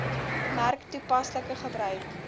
merk toepaslike gebruik